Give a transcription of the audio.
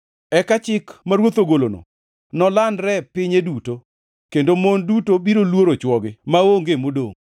Eka chik ma ruoth ogolono nolandre pinye duto, kendo mon duto biro luoro chwogi, maonge modongʼ.”